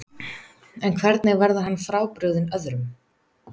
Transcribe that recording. En hvernig verður hann frábrugðinn öðrum?